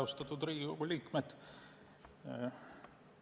Austatud Riigikogu liikmed!